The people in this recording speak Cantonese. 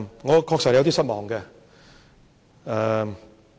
我確實有點失望。